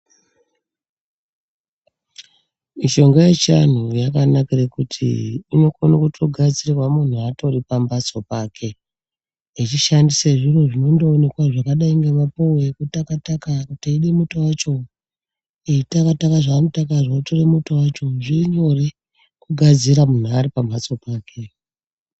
Mishonga yechiantu yakanakire kuti ino kona togadzirwe muntu atori pambatso pake echishande zviro zvinondooneka zvakadai ngemapuwe eyitaka taka kana eyida muto wacho eyitaka taka zvaano taka zvo eyitore muto wacho zvirinyore kugadzire muntu ari pambatso pake.